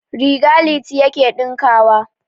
Riga Liti yake ɗinkawa.